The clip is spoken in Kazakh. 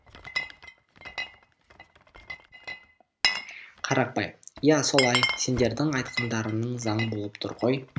қарақбай иә солай сендердің айтқандарың заң болып тұр ғой